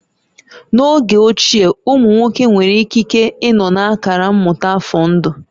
N'oge ochie, ụmụ nwoke nwere ikike ịnọ na akara mmụta afọ ndụ